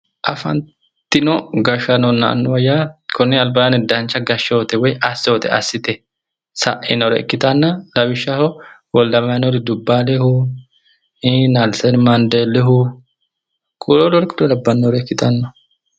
afantino annuwanna yaa konni albaanni dancha gashshoote woyi assoote assite sainore ikkitanna lawishshaho wolde amanueli dubbaalehu ii nelseni maandeellihu kuriu labbanore ikkitanno.